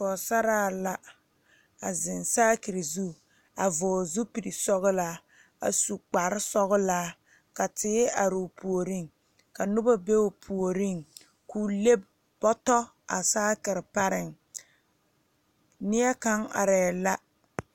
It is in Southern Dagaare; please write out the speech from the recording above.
Poosaraa la a zeŋ saakire zu a vɔɔle zupil sɔglaa a su kparesɔglaa ka teere aroo puoriŋ ka nobɔ be o puoriŋ loo le bɔtɔ a saakire pareŋ nie kaŋ arɛɛ la.